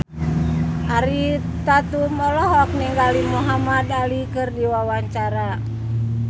Ariel Tatum olohok ningali Muhamad Ali keur diwawancara